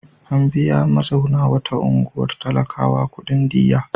An biya mazauna wata unguwar talakawa kuɗin diyya.